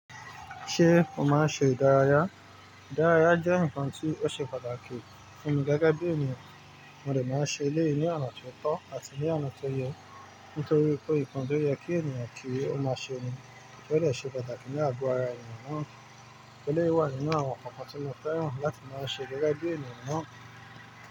Ṣé mo máa ń ṣe ìdárayá? Ìdárayá jẹ́ nǹkan tí ó ṣe pàtàkì fún mi gẹ́gẹ́ bí ènìyàn. Mo dẹ̀ máa ń ṣe éleyi ni ona tí ó tọ́ àti ní oná tó yẹ, nítorí pé nǹkan tó yẹ kí ènìyàn kí ó máa ṣe ni kí ó le ṣe pàtàkì ní àgọ́ ara ènìyàn náà. Eléyìí wà nínú àwọn nkankan tí mo fẹ́ràn láti máa ṣe gẹ́gẹ́ bí ènìyàn náà.